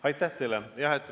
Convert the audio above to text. Aitäh teile!